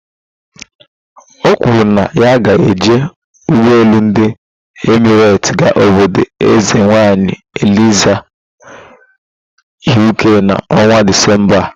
O kwuru na ya ga-eji ugboelu ndi Emirate gaa obodo eze nwanyi Eliza "Uk" na ọnwa Disemba a